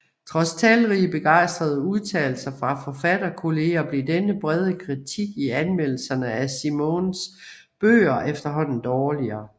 Trods talrige begejstrede udtalelser fra forfatterkolleger blev den brede kritik i anmeldelserne af Simenons bøger efterhånden dårligere